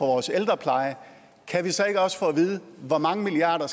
vores ældrepleje kan vi så ikke også få at vide hvor mange milliarder